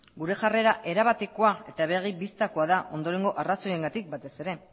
gure jarrera erabatekoa eta begi bistakoa da ondoren arrazoiengatik batez ere